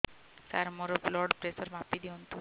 ସାର ମୋର blood pressure ମାପି ଦିଅନ୍ତୁ